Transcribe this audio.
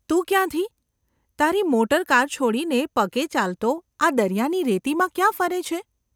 ‘તું ક્યાંથી ? તારી મોટરકાર છોડીને પગે ચાલતો આ દરિયાની રેતીમાં ક્યાં ફરે છે?